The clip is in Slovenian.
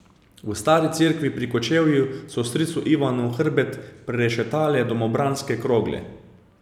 V Stari Cerkvi pri Kočevju so stricu Ivanu hrbet prerešetale domobranske krogle.